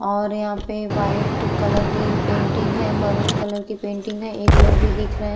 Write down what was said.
और यहाँ पर व्हाइट कलर की पेंटिंग है। मरून कलर की पेंटिंग है। एक लोग भी दिख रहे --